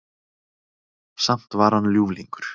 Samt var hann ljúflingur.